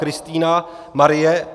Kristýna Marie